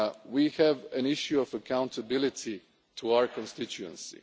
We have an issue of accountability to our constituency.